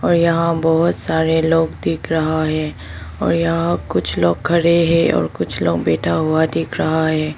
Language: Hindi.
और यहां बहुत सारे लोग दिख रहा है और यहां कुछ लोग खड़े हैं और कुछ लोग बैठा हुआ दिख रहा है।